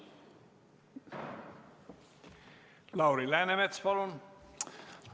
Lauri Läänemets, palun!